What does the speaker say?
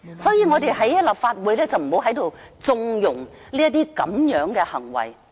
所以，我們不要在立法會縱容這樣的行為。